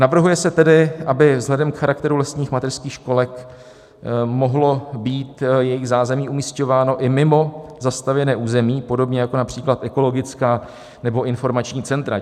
Navrhuje se tedy, aby vzhledem k charakteru lesních mateřských školek mohlo být jejich zázemí umisťováno i mimo zastavěné území, podobně jako například ekologická nebo informační centra.